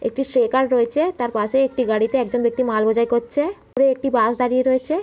একটি সেকার রয়েছে। তার পাশেই একটি গাড়িতে একজন ব্যাক্তি মাল বোঝাই করছে। দূরে একটি বাস দাঁড়িয়ে রয়েছে।